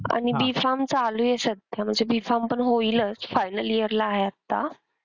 आणि B farm चालू आहे सध्या म्हणजे B farm पण होईलच final year ला आहे आत्ता.